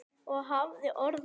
Og hafði orð á.